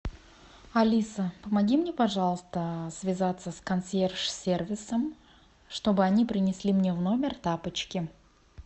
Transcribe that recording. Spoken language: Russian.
алиса помоги мне пожалуйста связаться с консьерж сервисом чтобы они принесли мне в номер тапочки